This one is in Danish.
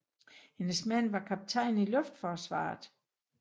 Hendes mand var kaptajn i luftforsvaret